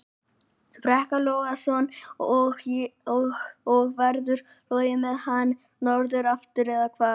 Breki Logason: Og, og verður flogið með hann norður aftur, eða hvað?